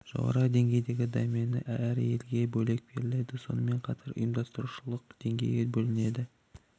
жоғары деңгейдің домені әр елге бөлек беріледі сонымен қатар ұйымдастырушылық деңгейде белгіленеді